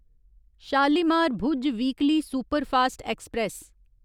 Shalimar Bhuj weekly superfast express